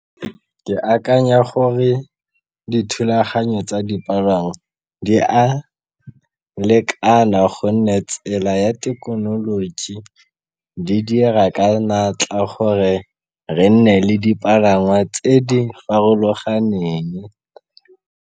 Ke akanya gore dithulaganyo tsa dipalangwa di a lekana gonne tsela ya thekenoloji di dira ka natla gore re nne le dipalangwa tse di farologaneng.